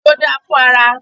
Òfiò dáa fún ara.